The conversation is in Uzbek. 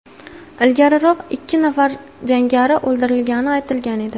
Ilgariroq ikki nafar jangari o‘ldirilgani aytilgan edi.